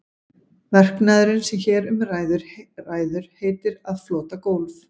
Verknaðurinn sem hér um ræður heitir að flota gólf.